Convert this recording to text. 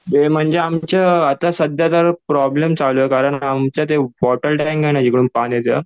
ते म्हणजे आमचं आता सध्या तर प्रॉब्लेम चालू आहे कारण आमचं ते वॉटर टॅंक आहे ना जिकडून पाणी येतं